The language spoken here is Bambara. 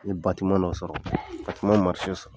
ma sɔrɔ o sɔrɔ